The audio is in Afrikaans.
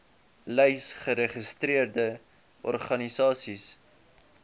lys geregistreerde organisasies